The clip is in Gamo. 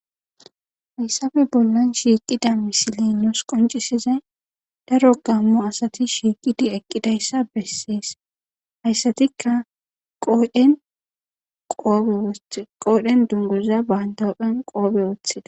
Hayssafe bollan shiiqida misilenos qoncisizay daro gamo asati shiqidi eqqidayssa bessees hayssatikka qodhen duniguza banita huphen qobe wothida